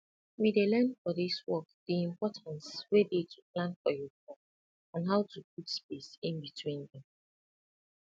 we dey learn for dis work di importance wey dey to plan for your crop and how to put space inbetween dem